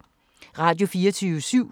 Radio24syv